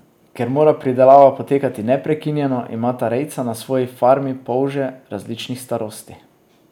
Ker mora pridelava potekati neprekinjeno, imata rejca na svoji farmi polže različnih starosti.